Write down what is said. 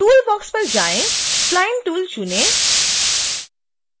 toolbox पर जाएँ spline tool चुनें